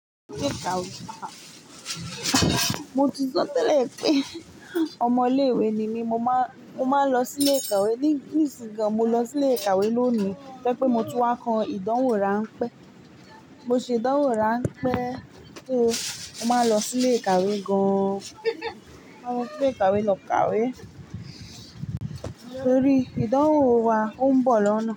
Mo ti sọ tẹ́lẹ̀ pé ọmọ ilé ìwé ni mí, mo máa, mo máa ń lọ sí ilé ìkàwé. Ní ìsìnyí gan, mo lọ sí ilé ìkàwé lónìí to je pé mo tun wá ko ìdánwò rán pé. Mo ṣe ìdánwò ránpẹ́. So, mó máa lọ sí ilé ìkàwé gan-an. Mo maa n lọ sí ilé ìkàwé lọ kàwé torí ìdánwò wa ò ń bọ̀ lọ́nà.